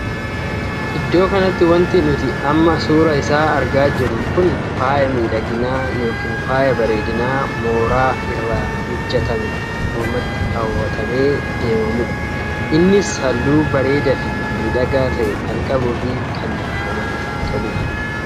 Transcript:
Iddoo kanatti wanti nuti amma suuraa isaa argaa jirru kun faaya miidhaginaa ykn faaya bareedinaa mooraa irraa hojjetamee mormatti kawwatamee deemamuudha. innis halluu bareedaa fi miidhagaa tahe kan qabuu fi kan namatti toluudha.